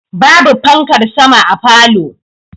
Ba bu fankar sama a falow